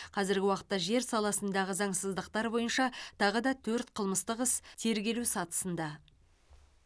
қазіргі уақытта жер саласындағы заңсыздықтар бойынша тағы да төрт қылмыстық іс тергелу сатысында